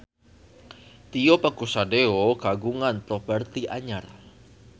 Tio Pakusadewo kagungan properti anyar